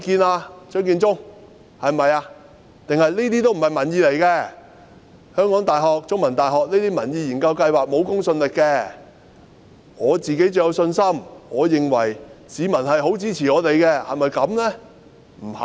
還是這些都不是民意，香港大學和中大的民意研究計劃都沒有公信力，政府對自己最有信心，認為市民十分支持政府，是不是這樣呢？